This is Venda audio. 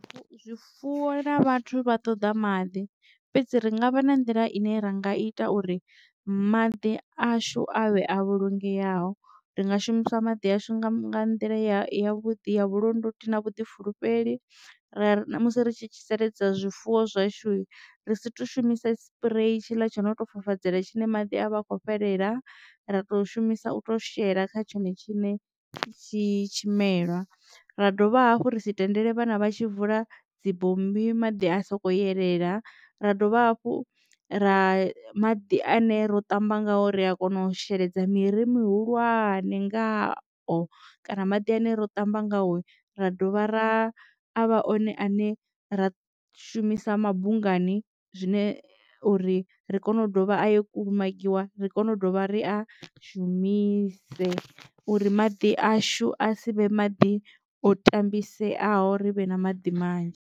Zwifuwo na vhathu vha ṱoḓa maḓi fhedzi ri ngavha na nḓila ine ra nga ita uri maḓi ashu avhe a vhulungeaho ri nga shumisa maḓi ashu nga nḓila ya vhuḓi ya vhulondoti na vhuḓifulufheli ra musi ri tshi sheledza zwifuwo zwashu ri si to shumisa sipurei tshiḽa tsha no tou fafadzela tshine maḓi a vha a kho fhelela ra tou shumisa u to shela kha tshone tshiṋe tshi tshimelwa. Ra dovha hafhu ri si tendele vhana vha tshi vula dzibommbi maḓi a soko elela ra dovha hafhu ra maḓi ane ro ṱamba ngayo ri a kona u sheledza miri mihulwane ngao kana maḓi ane ro tamba ngaho ra dovha ra avha one ane ra shumisa mabunga hani zwine uri ri kone u dovha a yo kulumagiwa ri kone u ḓovha ri a shumise uri maḓi ashu a si vhe maḓi o tambiseaho rivhe na maḓi manzhi.